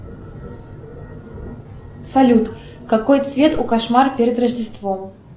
салют какой цвет у кошмара перед рождеством